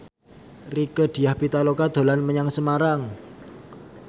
Rieke Diah Pitaloka dolan menyang Semarang